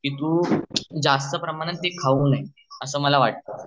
कि तू ते जास्त प्रमाणात खाऊ नये अस मला वाटत